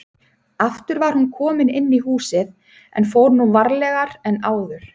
Aftur var hún komin inn í húsið en fór nú varlegar en áður.